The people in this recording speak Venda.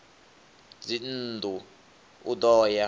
ya dzinnḓu u ḓo ya